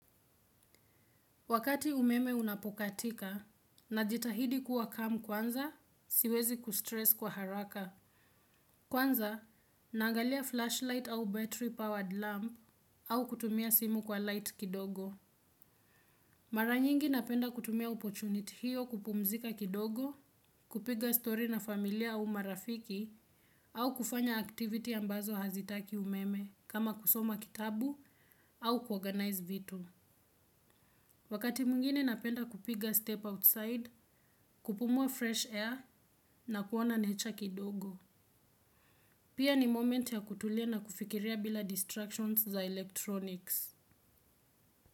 Wakati umeme unapo katika, najitahidi kuwa calm kwanza, siwezi ku stress kwa haraka. Kwanza, naangalia flashlight au battery-powered lamp au kutumia simu kwa light kidogo. Mara nyingi napenda kutumia opportunity hiyo kupumzika kidogo, kupiga story na familia au marafiki, au kufanya activity ambazo hazitaki umeme kama kusoma kitabu au ku organize vitu. Wakati mwingine napenda kupiga step outside, kupumua fresh air na kuona nature kidogo. Pia ni moment ya kutulia na kufikiria bila distractions za electronics.